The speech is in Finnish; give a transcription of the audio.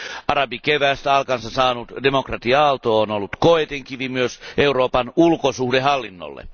Arabikeväästä alkunsa saanut demokratia aalto on ollut koetinkivi myös Euroopan ulkosuhdehallinnolle.